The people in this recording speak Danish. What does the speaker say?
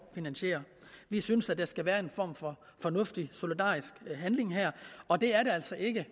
finansiere vi synes at der skal være en form for fornuftig solidarisk handling her og det er der altså ikke